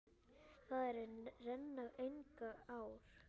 Þar renna engar ár.